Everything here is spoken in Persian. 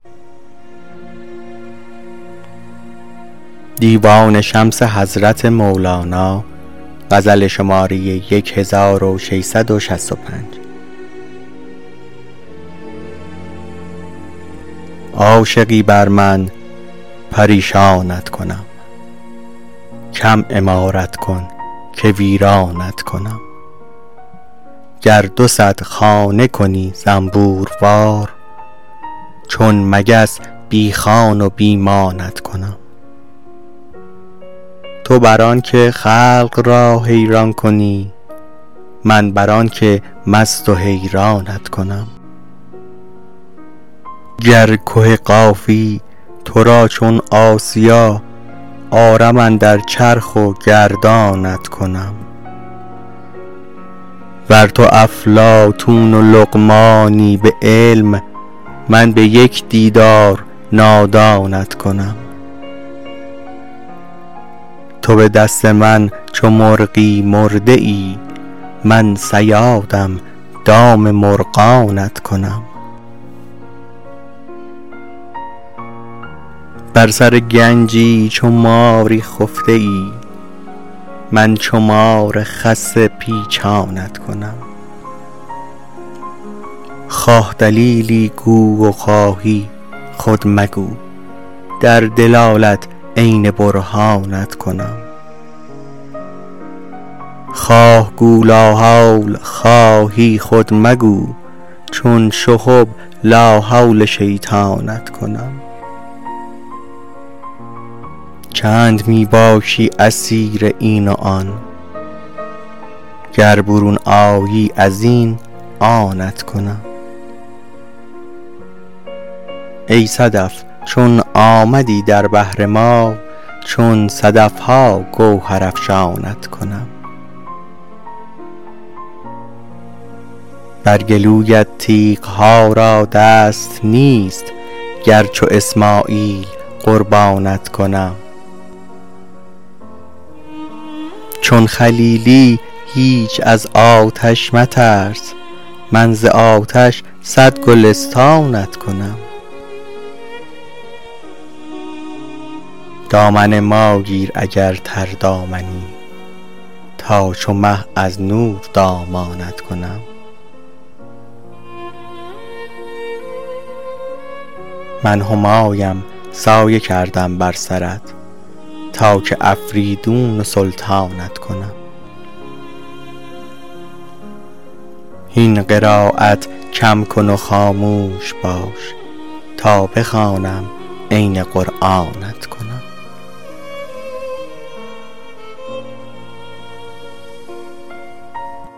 عاشقی بر من پریشانت کنم کم عمارت کن که ویرانت کنم گر دو صد خانه کنی زنبوروار چون مگس بی خان و بی مانت کنم تو بر آنک خلق را حیران کنی من بر آنک مست و حیرانت کنم گر که قافی تو را چون آسیا آرم اندر چرخ و گردانت کنم ور تو افلاطون و لقمانی به علم من به یک دیدار نادانت کنم تو به دست من چو مرغی مرده ای من صیادم دام مرغانت کنم بر سر گنجی چو ماری خفته ای من چو مار خسته پیچانت کنم خواه دلیلی گو و خواهی خود مگو در دلالت عین برهانت کنم خواه گو لاحول خواهی خود مگو چون شهب لاحول شیطانت کنم چند می باشی اسیر این و آن گر برون آیی از این آنت کنم ای صدف چون آمدی در بحر ما چون صدف ها گوهرافشانت کنم بر گلویت تیغ ها را دست نیست گر چو اسماعیل قربانت کنم چون خلیلی هیچ از آتش مترس من ز آتش صد گلستانت کنم دامن ما گیر اگر تردامنی تا چو مه از نور دامانت کنم من همایم سایه کردم بر سرت تا که افریدون و سلطانت کنم هین قرایت کم کن و خاموش باش تا بخوانم عین قرآنت کنم